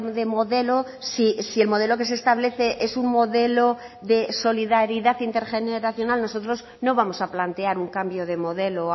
de modelo si el modelo que se establece es un modelo de solidaridad intergeneracional nosotros no vamos a plantear un cambio de modelo